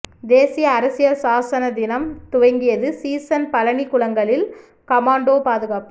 தேசிய அரசியல் சாசன தினம் துவங்கியது சீசன் பழநி குளங்களில் கமாண்டோ பாதுகாப்பு